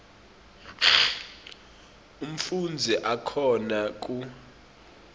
umfundzi akhona ku